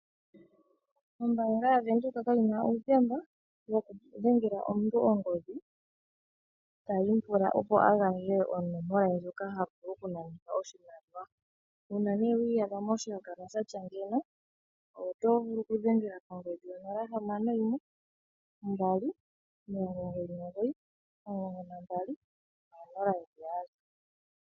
Ombaanga yaVenduka kayina uuthemba wokudhengela omuntu ongodhi tayi mupula, opo a gandje onomola ye ndjoka havulu okunanitha oshimaliwa. Uuna nee wi iyadha moshihakanwa shatya ngeyi otovulu okudhengela kongodhi yo 0612991200.